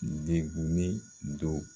Denkunin don.